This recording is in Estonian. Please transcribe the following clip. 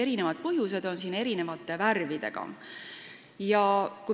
Erinevad põhjused on tähistatud eri värvidega.